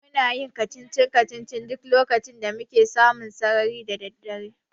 Muna yin kacici-kacicici duk lokacin da muke samu sarari da daddare.